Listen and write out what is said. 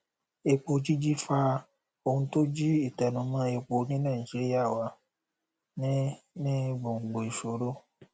epo jíjí fa ohun tó jí ìtẹnumọ epo ní nàìjíríà wà ní ní gbòngbò ìṣòro